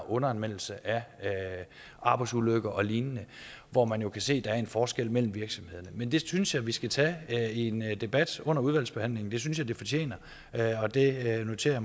underanmeldelse af arbejdsulykker og lignende hvor man jo kan se at der er en forskel mellem virksomhederne men det synes jeg vi skal tage en debat under udvalgsbehandlingen det synes jeg det fortjener og det noterer